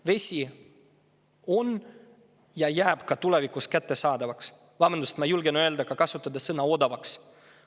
Vesi on kättesaadav ja jääb ka tulevikus kättesaadavaks ja – vabandust, ma julgen kasutada sellist sõna ka – odavaks.